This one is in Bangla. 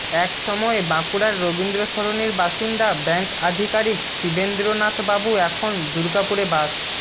এক সময়ে বাঁকুড়ার রবীন্দ্রসরণির বাসিন্দা ব্যাঙ্ক আধিকারিক শিবেন্দ্রনাথবাবু এখন দুর্গাপুরে বাস